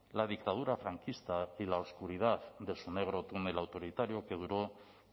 la dictadura franquista y la oscuridad de su negro túnel autoritario que duró